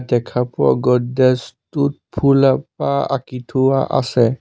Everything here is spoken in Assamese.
দেখা পোৱা গোড্ৰেজ টোত ফুল এপাহ আঁকি থোৱা আছে।